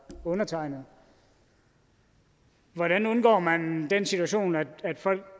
undertegnede hvordan undgår man den situation at folk